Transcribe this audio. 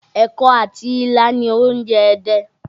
Ẹ̀kọ àti ilá ni oúnjẹ Ẹdẹ